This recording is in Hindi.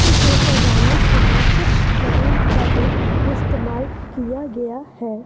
इसे सजाने के लिए कुछ बलूंस का भी इस्तेमाल किया गया है।